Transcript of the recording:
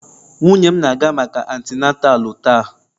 Nwunye m na-aga maka atinatalu taa.